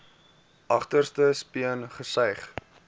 agterste speen gesuig